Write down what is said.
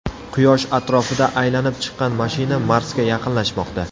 Quyosh atrofida aylanib chiqqan mashina Marsga yaqinlashmoqda.